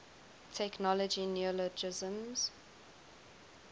technology neologisms